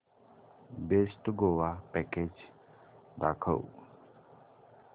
best Goa package दाखव